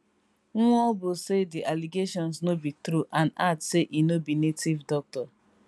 nwaobu say di allegations no be true and add say e no be native doctor